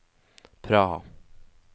Praha